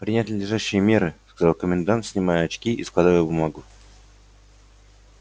принять надлежащие меры сказал комендант снимая очки и складывая в бумагу